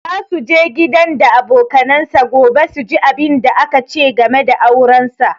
Za su je gidan da abokanansa gobe su ji abunda aka ce game da auransa